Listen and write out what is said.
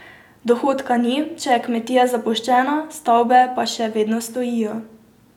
Dohodka ni, če je kmetija zapuščena, stavbe pa še vedno stojijo.